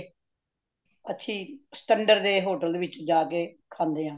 ਅਸੀ ਸਿਕੰਦਰ ਦੇ hotel ਵਿਚ ਜਾ ਕੇ , ਖਾਂਦੇ ਹਾਂ